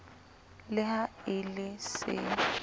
le ha e le se